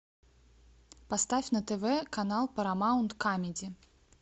поставь на тв канал парамаунт камеди